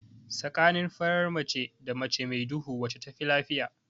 Tsakanin farar mace da mace mai duhu wacce tafi lafiya?